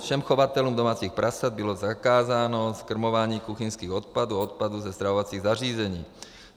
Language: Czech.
Všem chovatelům domácích prasat bylo zakázáno zkrmování kuchyňských odpadů a odpadů ze stravovacích zařízení.